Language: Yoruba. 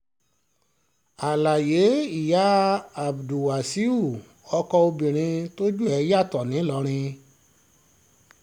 àlàyé ìyá abdulwasaiu ọkọ obìnrin tójú ẹ̀ yàtọ̀ ńìlọrin fídíò